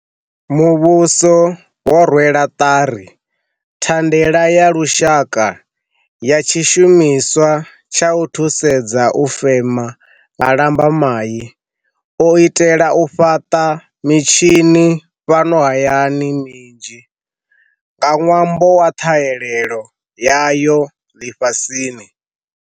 Muvhuso wo rwela ṱari Thandela ya Lushaka ya Tshishu-miswa tsha u thusedza u fema nga Lambamai, u itela u fhaṱa mitshini fhano hayani minzhi nga ṅwambo wa ṱhahelelo yayo ḽifhasini.